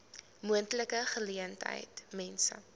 moontlike geleentheid mense